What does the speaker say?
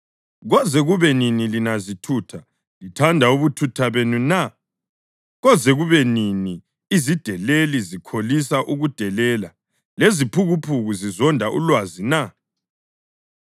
“Koze kube nini lina zithutha lithanda ubuthutha benu na? Koze kube nini izideleli zikholisa ukudelela leziphukuphuku zizonda ulwazi na?